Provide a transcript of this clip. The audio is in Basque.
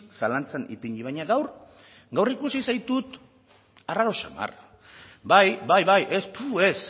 zalantzan ipini baina gaur ikusi zaitut arraro xamar bai bai bai ez fu ez